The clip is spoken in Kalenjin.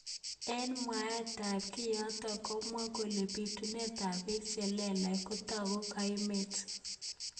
Eng mwaet ab kiyotok komwaat kele bitunet ab bek chetililen kotako kaimet.